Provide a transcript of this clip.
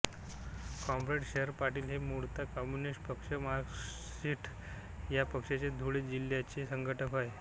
comrade Sharad Patil हे मुळात communist पक्ष मार्क्सिस्ट या पक्षाचे धुळे जिल्ह्याचे संघटक होते